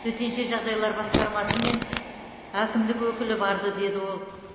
төтенше жағдайлар басқармасы мен әкімдік өкілі барды деді ол